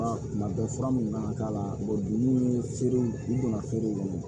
Tuma bɛɛ fura min mana k'a la ni feerew u donna feerew la